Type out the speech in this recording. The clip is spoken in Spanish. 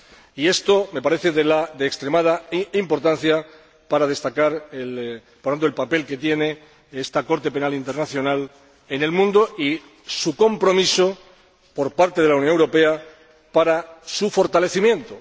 Y esto me parece de extremada importancia para destacar, por tanto, el papel que tiene esta Corte Penal Internacional en el mundo y el compromiso por parte de la Unión Europea para su fortalecimiento.